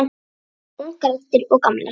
Ungar raddir og gamlar.